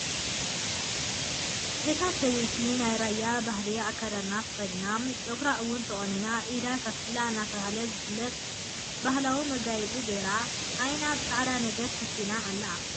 እታ ሰበይቲ ናይ ራያ ባህሊ ኣከዳድና ተኸዲና ፀጉራ እውን ተቖኒና ኢዳ ሳስላ እናተባህለ ዝፍለጥ ባህላዊ መጋየፂ ገይራ ዓይና ብፃዕዳ ነገር ሸፊና ኣላ፡፡